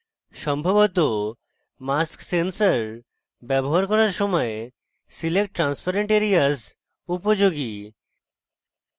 সম্ভবত mask sensor ব্যবহার করার সময় select transparent areas উপযোগী